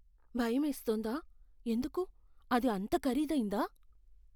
భయమేస్తోందా? ఎందుకు? అది అంత ఖరీదైందా?